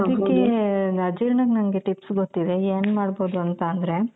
ಆದಿಕ್ಕೆ ಅಜೀರ್ಣಕ್ಕೆ ನಂಗೆ tips ಗೊತ್ತಿದೆ ಏನ್ ಮಾಡ್ಬೋದು ಅಂತ ಅಂದ್ರೆ.